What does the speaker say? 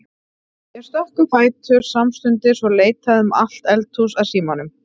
Ég stökk á fætur samstundis og leitaði um allt eldhús að símanum.